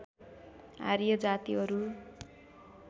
आर्य जातिहरू